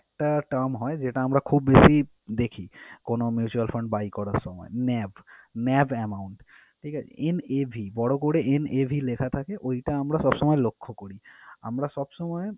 একটা term হয় যেটা আমরা খুব বেশি দেখি কোন mutual fund buy করার সময় NAVNAV amount ঠিক আছে? en a bhi বড় করে en a bhi লেখা থাকে ওইটা আমরা সবসময় লক্ষ্য করি। আমরা সবসময়